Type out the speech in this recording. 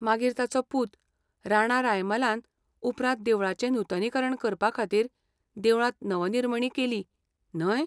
मागीर ताचो पूत, राणा रायमालान उपरांत देवळाचें नुतनीकरण करपा खातीर देवळांत नवनिर्मणी केली, न्हय?